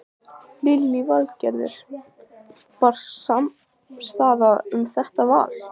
Lillý Valgerður: Var samstaða um þetta val?